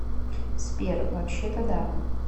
сбер вообще то да